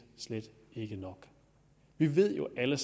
slet ikke er nok vi ved jo alle